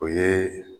O ye